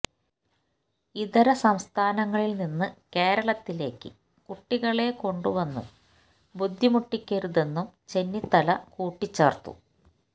ഇതര സംസ്ഥാനങ്ങളില് നിന്നു കേരളത്തിലേക്കു കുട്ടികളെ കൊണ്ടുവന്നു ബുദ്ധിമുട്ടിക്കരുതെന്നും ചെന്നിത്തല കൂട്ടിച്ചേര്ത്തു